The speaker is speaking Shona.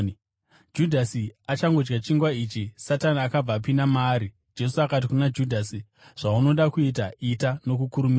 Judhasi achangodya chingwa ichi, Satani akabva apinda maari. Jesu akati kuna Judhasi, “Zvaunoda kuita, ita nokukurumidza,”